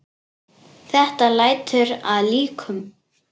Þetta lætur að líkum.